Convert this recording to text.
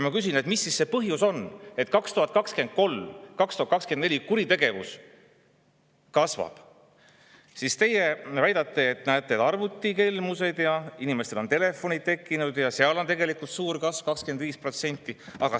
Ma küsisin, mis siis see põhjus on, et aastatel 2023–2024 kuritegevus on kasvanud, ja teie väitsite, et näete, on arvutikelmused ja inimestel on telefonid tekkinud ja sealt on tegelikult suur kasv, 25%.